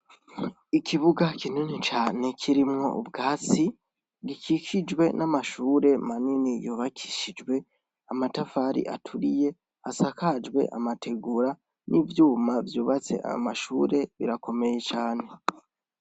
Ikibuga kinini cane kirimwo ubwatsi gikikijwe n'amashure manini yubakishijwe amatafari aturiye asakajwe amategura ,n'ivyuma vyubatse ayo mashure birakomeye cane .